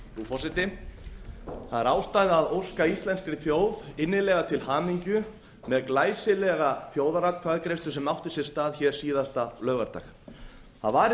forseti það er ástæða að óska íslenskri þjóð innilega til hamingju með glæsilega þjóðaratkvæðagreiðslu sem átti sér stað hér síðasta laugardag það var í raun og